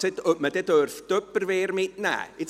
Jemand fragte, ob man Tupperware mitnehmen dürfe.